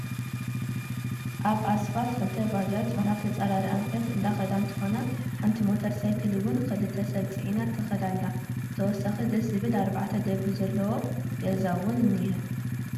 አብ አስፋልት ክልተ ባጃጅ ናብ ተፃራሪ አንፈት አንዳከዳ እንትኮና ሓንቲ ሞተር ሳይክል እውን ክልተ ሰብ ፅዒና ትከድ አላ፡፡ ብተወሳኪ ደስ ዝብል አርባዕተ ደብሪ ዘለዎ ጋዛ እውን እኒሀ፡፡